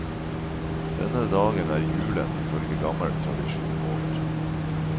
Denne dagen er julen i følge gammel tradisjon over.